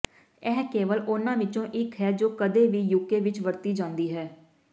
ਇਹ ਕੇਵਲ ਉਨ੍ਹਾਂ ਵਿੱਚੋਂ ਇੱਕ ਹੈ ਜੋ ਕਦੇ ਵੀ ਯੂਕੇ ਵਿੱਚ ਵਰਤੀ ਜਾਂਦੀ ਹੈ